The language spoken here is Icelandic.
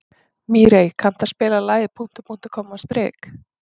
Mírey, kanntu að spila lagið „Punktur, punktur, komma, strik“?